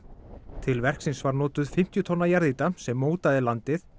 til verksins var notuð fimmtíu tonna jarðýta sem mótaði landið